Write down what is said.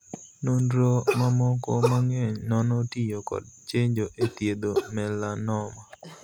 Nonro mamoko mang'eny nono tiyo kod chenjo e thiedho 'melanoma'.